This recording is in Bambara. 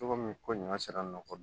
Cogo min ko ɲina sera nɔgɔ kɔ